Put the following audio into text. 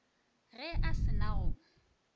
ge a se na go